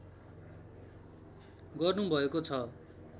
गर्नुभएको छ